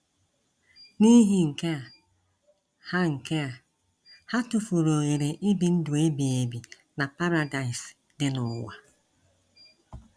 N’ihi nke a, ha nke a, ha tufuru ohere ibi ndụ ebighị ebi na Paradaịs dị n'ụwa.